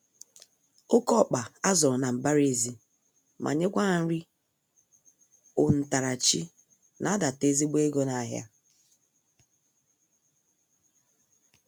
Oké ọkpa azụrụ na mbara-ezi, ma nyekwa ha nri ontarachi na adata ezigbo ego nahịa.